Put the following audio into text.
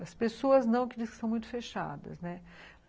As pessoas não, que dizem que são muito fechadas, né?